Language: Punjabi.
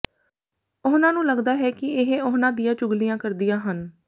ਉਹਨਾ ਨੂੰ ਲੱਗਦਾ ਕਿ ਇਹ ਉਹਨਾ ਦੀਆਂ ਹੀ ਚੁਗਲੀਆਂ ਕਰਦੀਆਂ ਹਨ